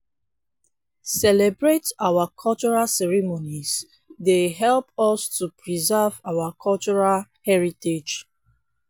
celebrate our cultural ceremonies dey help us to preserve our cultural heritage.